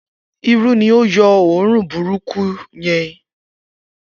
Iru ni ó yọ́ run burúkú yẹn